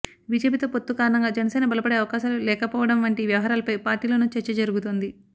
బీజేపీతో పొత్తు కారణంగా జనసేన బలపడే అవకాశాలు లేకపోవడం వంటి వ్యవహారాలపై పార్టీలోనూ చర్చ జరుగుతోంది